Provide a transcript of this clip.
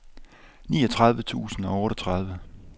niogtredive tusind og otteogtredive